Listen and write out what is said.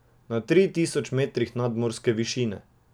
Na tri tisoč metrih nadmorske višine.